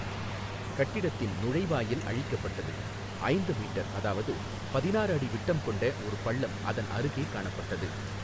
கட்டிடத்தின் நுழைவாயில் அழிக்கப்பட்டது, ஐந்து மீட்டர் அதாவது பதினாறு அடி விட்டம் கொண்ட ஒரு பள்ளம் அதன் அருகே காணப்பட்டது.